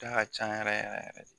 Da ka ca yɛrɛ yɛrɛ